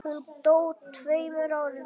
Hún dó tveimur árum síðar.